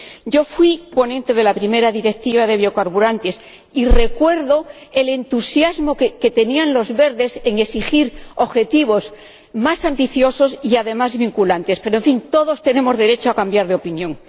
Yo fui ponente de la primera Directiva sobre biocarburantes y recuerdo el entusiasmo de los Verdes exigiendo objetivos más ambiciosos y además vinculantes, pero, en fin, todos tenemos derecho a cambiar de opinión.